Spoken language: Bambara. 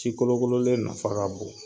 Ci kolokololen nafa ka bon